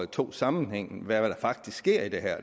tog sammenhængen om hvad der faktisk sker i det her